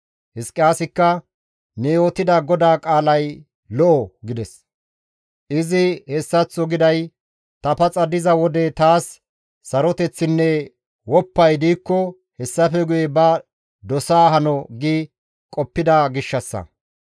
Hizqiyaasikka, «Ne yootida GODAA qaalay lo7o» gides. Izi hessaththo giday, «Ta paxa diza wode taas saroteththinne woppay diikko hessafe guye ba dosaa hano» gi qoppida gishshassa.